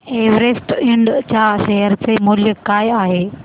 Everest इंड च्या share चे मूल्य काय आहे